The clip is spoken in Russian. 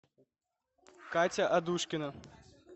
катя адушкина